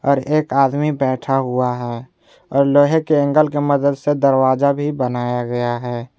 ओर एक आदमी बैठा हुआ है और लोहे के एंगल की मदद से दरवाजा भी बनाया गया है।